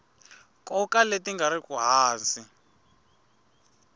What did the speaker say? nkoka leti nga riki hansi